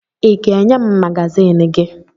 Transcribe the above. Ị ga-enye m magazin gị?